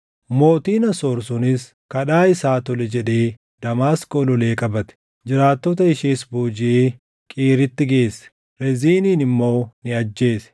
Mootiin Asoor sunis kadhaa isaa tole jedhee Damaasqoo lolee qabate. Jiraattota ishees boojiʼee Qiiritti geesse; Reziinin immoo ni ajjeese.